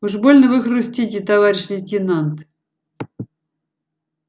уж больно вы хрустите товарищ лейтенант